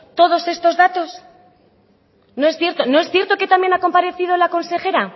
todos estos datos no es cierto no es cierto que también ha comparecido la consejera